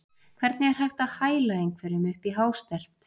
Hvernig er hægt að hæla einhverjum upp í hástert?